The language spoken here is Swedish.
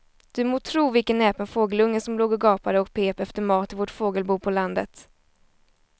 Du må tro vilken näpen fågelunge som låg och gapade och pep efter mat i vårt fågelbo på landet.